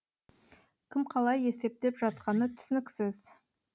кім қалай есептеп жатқаны түсініксіз